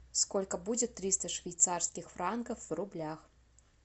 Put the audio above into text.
сколько будет триста швейцарских франков в рублях